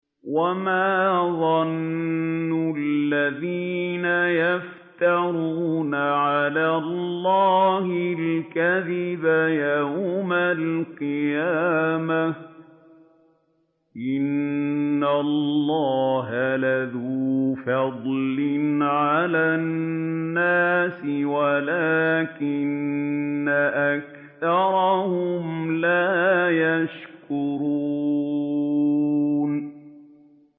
وَمَا ظَنُّ الَّذِينَ يَفْتَرُونَ عَلَى اللَّهِ الْكَذِبَ يَوْمَ الْقِيَامَةِ ۗ إِنَّ اللَّهَ لَذُو فَضْلٍ عَلَى النَّاسِ وَلَٰكِنَّ أَكْثَرَهُمْ لَا يَشْكُرُونَ